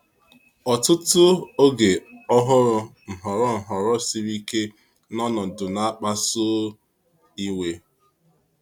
Ọ̀tụtụ oge ọ hụrụ nhọrọ nhọrọ siri ike na ọnọdụ na-akpasu iwe.